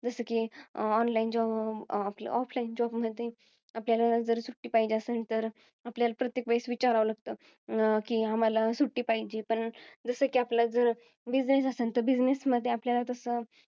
जसं कि online job offline job मधी, आपल्याला जर सुट्टी पाहिजे असल तर आपल्याला प्रत्येक वेळेस विचारावं लागत. कि, आम्हाला सुट्टी पाहिजे. पण जसं कि, आपला जर business असेल तर, business मध्ये आपल्याला